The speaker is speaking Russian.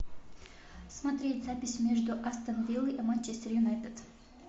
смотреть запись между астон вилла и манчестер юнайтед